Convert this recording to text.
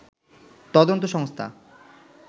তদন্ত সংস্থা